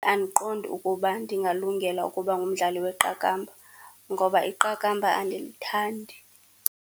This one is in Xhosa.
Andiqondi ukuba ndingalungela ukuba ngumdlali weqakamba ngoba iqakamba andilithandi.